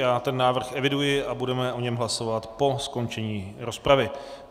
Já ten návrh eviduji a budeme o něm hlasovat po skončení rozpravy.